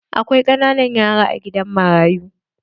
Akwai ƙananan yara a gidan marayu.